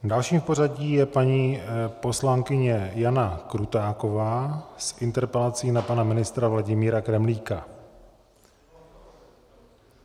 Dalším v pořadí je paní poslankyně Jana Krutáková s interpelací na pana ministra Vladimíra Kremlíka.